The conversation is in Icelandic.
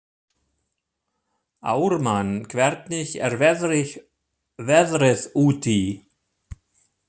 Ármann, hvernig er veðrið úti?